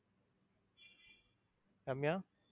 Ramya.